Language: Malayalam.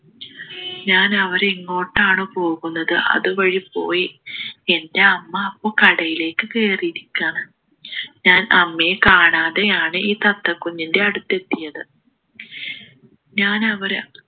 ഞാനവരെ എങ്ങോട്ടാണ് പോകുന്നത് അതുവഴി പോയി എൻ്റെ അമ്മ അപ്പോൾ കടയിലേക്ക് കയറിയിരിക്കുകയാണ് ഞാൻ അമ്മയെ കാണാതെയാണ് ഈ തത്ത കുഞ്ഞിൻ്റെ അടുത്ത് എത്തിയത് ഞാനവരെ